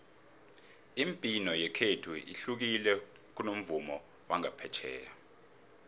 imibhino yekhethu ihlukile kunomvumo wangaphetjheya